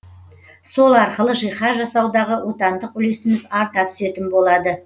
сол арқылы жиһаз жасаудағы отандық үлесіміз арта түсетін болады